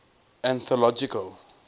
anthological